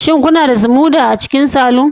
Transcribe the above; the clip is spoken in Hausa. Shin kuna da smoother a cikin saloon